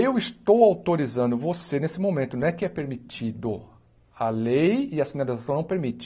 Eu estou autorizando você, nesse momento, não é que é permitido a lei e a sinalização, não permite.